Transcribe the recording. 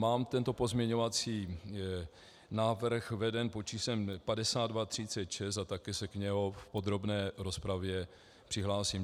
Mám tento pozměňovací návrh vedený pod číslem 5236 a také se k němu v podrobné rozpravě přihlásím.